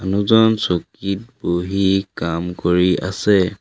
মানুহজন চকীত বহি কাম কৰি আছে।